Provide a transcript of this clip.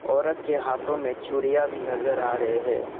औरत के हाथों में चूड़ियां भी नजर आ रहे हैं।